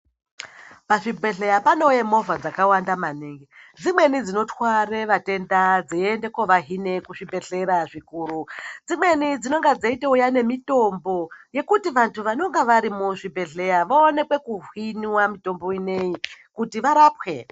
Pazvibhedhleya panouya movha dzakawanda maningi dzimweni dzinotwara vatenda dzeienda kovahina kuzvibhedhleya zvikuru dzimweni dzinenge dzeitouya nemitombo yekuti vantu vanenge vari muzvibhedhlera vaone kuhinwa mutombo inei kuti varapwe.